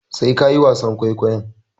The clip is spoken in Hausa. Sai ka yi wasan kwaikwayon.